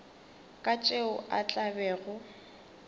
ka tšeo a tla bego